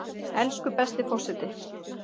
Elsku besti forseti!